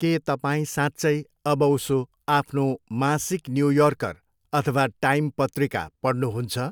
के तपाईँ साँच्चै अबउसो आफ्नो मासिक न्यू योर्कर अथवा टाइम पत्रिका पढ्नुहुन्छ?